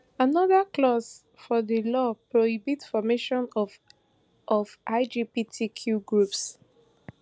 anoda clause for di law prohibit formation of of lgbtq groups